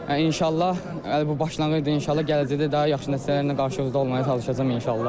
İnşallah, bu başlanğıcdır, inşallah gələcəkdə daha yaxşı nəticələrlə qarşınızda olmağa çalışacam inşallah.